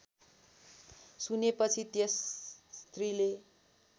सुनेपछि त्यस स्त्रीले